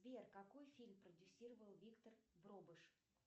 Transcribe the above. сбер какой фильм продюсировал виктор дробыш